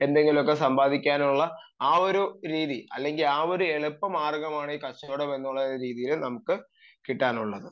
എന്തെങ്കിലുമൊക്കെ സമ്പാദിക്കാനുള്ള ആ ഒരു രീതി അല്ലെങ്കിൽ ആ ഒരു എളുപ്പ മാർഗ്ഗമാണ് ഈ കച്ചവടം എന്ന് പറയുന്ന രീതിയിൽ നിന്ന് നമുക്ക് കിട്ടാനുള്ളത്